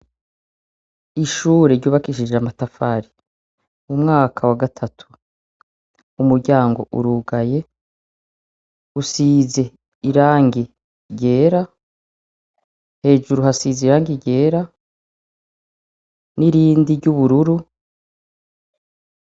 Ishure ryubakishije amatafari mu mwaka wa gatatu umuryango urugaye usize irangi ryera hejuru hasize irangi ryera n'irindi ry'ubururu.